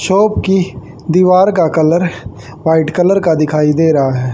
Shop की दीवार का कलर व्हाइट कलर का दिखाई दे रहा हैं।